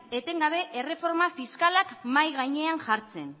etengabe erreforma fiskalak mahai gainean jartzen